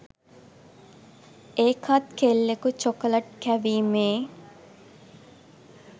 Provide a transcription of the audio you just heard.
ඒකත් කෙල්ලෙකු චොකලට් කැවීමේ